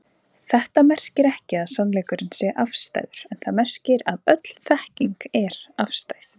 Þetta merkir ekki að sannleikurinn sé afstæður en það merkir að öll þekking er afstæð.